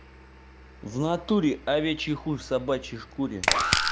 в натуре овечий хуй в собачьей шкуре